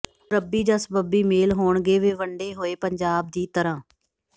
ਹੁਣ ਰੱਬੀ ਜਾਂ ਸਬੱਬੀ ਮੇਲ ਹੋਣਗੇ ਵੇ ਵੰਡੇ ਹੋਏ ਪੰਜਾਬ ਦੀ ਤਰ੍ਹਾਂ